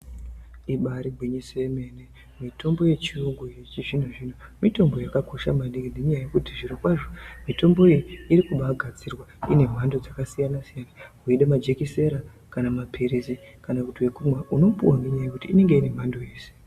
Ibaregwinyise yemene mitombo yechiyungu, yechizvino zvino mitombo yakakosha maningi ngenyaya yekuti zvirikwazvo mitombo iyi ikubagadzirwa ine mhando dzakasiyana siyana uye nemajekesera, kana mapirisi, kana kuti wekumwa unopiwa nenyaya yekuti inenge iri mhando yese.